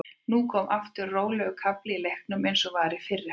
Nú kom aftur rólegur kafli í leiknum eins og var í fyrri hálfleik.